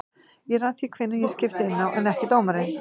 Ég ræð því hvenær ég skipti inná en ekki dómarinn.